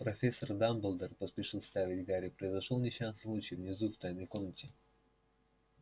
профессор дамблдор поспешил вставить гарри произошёл несчастный случай внизу в тайной комнате